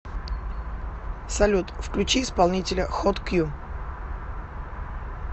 салют включи исполнителя хот кью